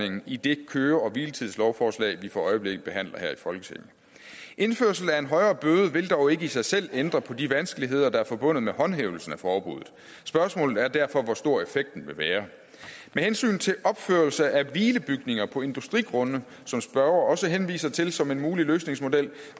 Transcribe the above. i det køre og hviletidslovforslag vi for øjeblikket behandler her i folketinget indførsel af en højere bøde vil dog ikke i sig selv ændre på de vanskeligheder der er forbundet med håndhævelsen af forbuddet spørgsmålet er derfor hvor stor effekten vil være med hensyn til opførelse af hvilebygninger på industrigrunde som spørgeren også henviser til som en mulig løsningsmodel